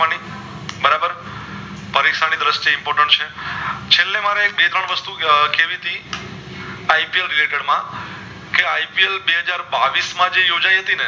Important છે છેલ્લે મારે બે ત્રણ વાશ્તુ કેવી ટી માં ipl બે હજાર બાવીશ માં જે યોજાય હતી ને